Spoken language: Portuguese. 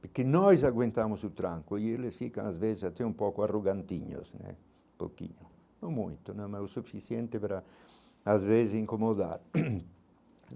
Porque nós aguentamos o tranco e eles ficam às vezes até um pouco arrogantinhos né, um pouquinho, não muito né, mas o suficiente para às vezes incomodar.